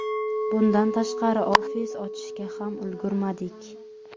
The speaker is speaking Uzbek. Bundan tashqari, ofis ochishga ham ulgurmadik.